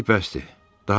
Hələlik bəsdi.